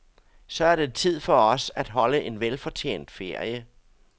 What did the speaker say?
Så er det tid for os at holde en velfortjent ferie.